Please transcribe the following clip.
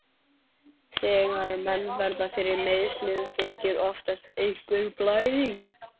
Þegar menn verða fyrir meiðslum, fylgir oftast einhver blæðing.